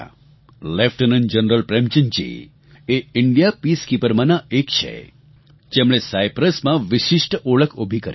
lieutenant general પ્રેમચંદજી એ ભારતીય Peacekeeperમાંના એક છે જેમણે સાયપ્રસમાં વિશિષ્ટ ઓળખ ઉભી કરી